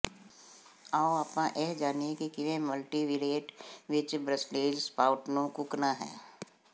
ਆਓ ਆਪਾਂ ਇਹ ਜਾਣੀਏ ਕਿ ਕਿਵੇਂ ਮਲਟੀਵੀਰੀਏਟ ਵਿੱਚ ਬ੍ਰਸੇਲਜ਼ ਸਪਾਉਟ ਨੂੰ ਕੁੱਕਣਾ ਹੈ